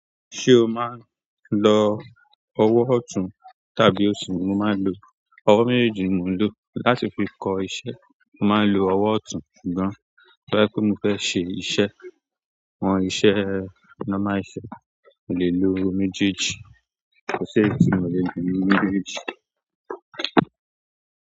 Ṣé o máa ń lo ọwọ́ ọ̀tún tàbí òsì? Mo máa ń lo ọwọ́ méjèèjì, ni mo ń lò láti fi kọ iṣẹ́. Mo máa ń lo ọwọ́ ọ̀tún ṣùgbọ́n boya pe mo fẹ́ ṣe iṣẹ́, àwọn iṣẹ́ normal iṣẹ́, mo lè lo méjèèjì. Kò séyi tí mo le lo nínú méjèèjì.